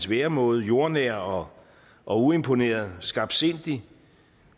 væremåde jordnær og og uimponeret skarpsindig